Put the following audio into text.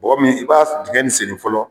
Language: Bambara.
Bɔgɔ min i b'a digɛn nin senni fɔlɔ.